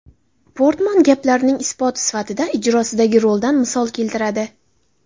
Portman gaplarining isboti sifatida ijrosidagi roldan misol keltiradi.